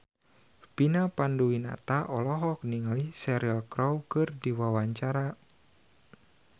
Vina Panduwinata olohok ningali Cheryl Crow keur diwawancara